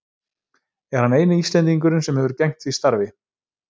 Er hann eini Íslendingurinn sem hefur gegnt því starfi.